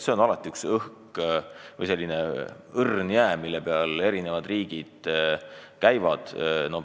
See on selline õrn jää, mille peal kõik riigid käivad.